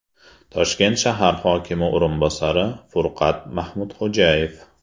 Toshkent shahar hokimi o‘rinbosari Furqat Mahmudxo‘jayev.